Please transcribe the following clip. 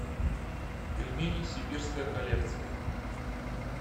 пельмени сибирская коллекция